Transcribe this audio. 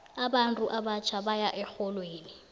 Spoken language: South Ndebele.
abantu abatjha baya erholweni